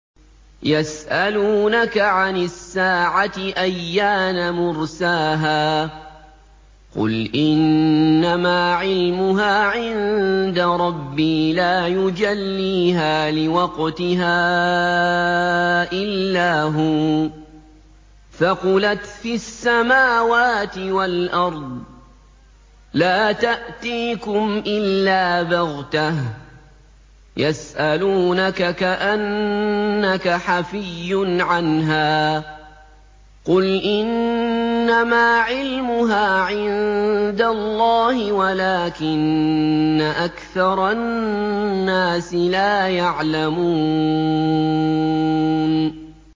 يَسْأَلُونَكَ عَنِ السَّاعَةِ أَيَّانَ مُرْسَاهَا ۖ قُلْ إِنَّمَا عِلْمُهَا عِندَ رَبِّي ۖ لَا يُجَلِّيهَا لِوَقْتِهَا إِلَّا هُوَ ۚ ثَقُلَتْ فِي السَّمَاوَاتِ وَالْأَرْضِ ۚ لَا تَأْتِيكُمْ إِلَّا بَغْتَةً ۗ يَسْأَلُونَكَ كَأَنَّكَ حَفِيٌّ عَنْهَا ۖ قُلْ إِنَّمَا عِلْمُهَا عِندَ اللَّهِ وَلَٰكِنَّ أَكْثَرَ النَّاسِ لَا يَعْلَمُونَ